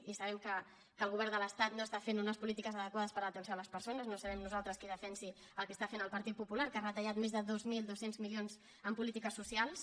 i sabem que el govern de l’estat no està fent unes polítiques adequades per a l’atenció a les persones no serem nosaltres qui defensi el que està fent el partit popular que ha retallat més de dos mil dos cents milions en polítiques socials